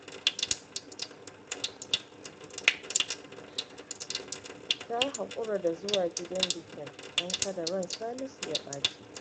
Ta haƙura da zuwa bikin, don kada ran Salisu ya ɓaci